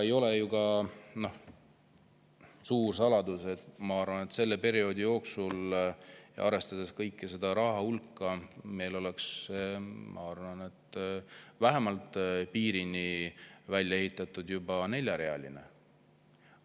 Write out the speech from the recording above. Ei ole ju suur saladus, et selle perioodi jooksul, arvestades kogu seda rahahulka, meil oleks, ma arvan, vähemalt piirini juba neljarealine välja ehitatud.